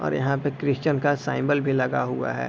और यहाँ पे क्रिस्चन का साईम्बल भी लगा हुआ है।